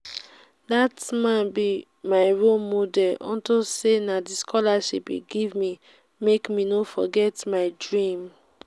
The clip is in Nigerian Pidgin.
dat man be my role model unto say na the scholarship he give me make me no forget my dream